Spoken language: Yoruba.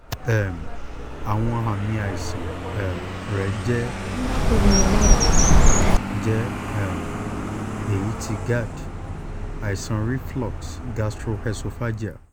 um awọn aami aisan um rẹ jẹ um jẹ um ẹya ti gerd àìsàn reflux gastroesophageal